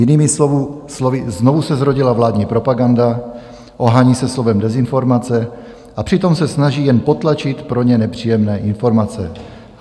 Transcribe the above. Jinými slovy, znovu se zrodila vládní propaganda, ohání se slovem dezinformace, a přitom se snaží jen potlačit pro ně nepříjemné informace.